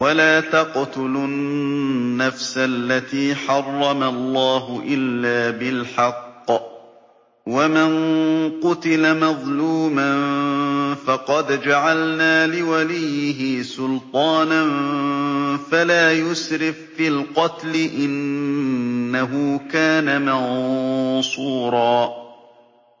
وَلَا تَقْتُلُوا النَّفْسَ الَّتِي حَرَّمَ اللَّهُ إِلَّا بِالْحَقِّ ۗ وَمَن قُتِلَ مَظْلُومًا فَقَدْ جَعَلْنَا لِوَلِيِّهِ سُلْطَانًا فَلَا يُسْرِف فِّي الْقَتْلِ ۖ إِنَّهُ كَانَ مَنصُورًا